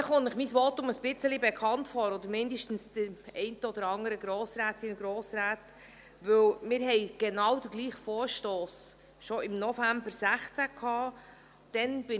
Vielleicht kommt Ihnen mein Votum ein wenig bekannt vor, oder zumindest den einen oder anderen Grossrätinnen und Grossräten, denn wir haben den genau gleichen Vorstoss schon im November 2016 beraten.